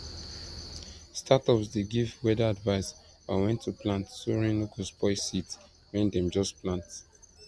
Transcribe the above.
startups dey give weather advice on when to plant so rain no go spoil seeds when dem just plant